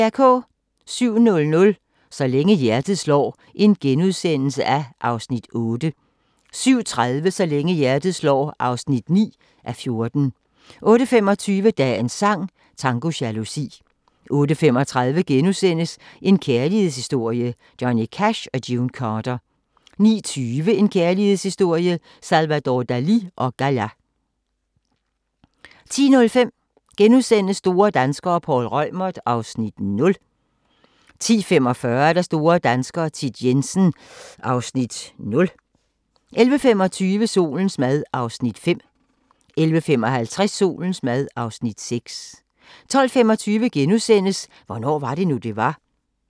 07:00: Så længe hjertet slår (8:14)* 07:30: Så længe hjertet slår (9:14) 08:25: Dagens sang: Tango jalousi 08:35: En kærlighedshistorie – Johnny Cash & June Carter * 09:20: En kærlighedshistorie – Salvador Dalì & Gala 10:05: Store danskere - Poul Reumert (Afs. 0)* 10:45: Store danskere - Thit Jensen (Afs. 0) 11:25: Solens mad (Afs. 5) 11:55: Solens mad (Afs. 6) 12:25: Hvornår var det nu, det var? *